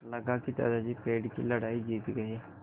लगा कि दादाजी पेड़ की लड़ाई जीत गए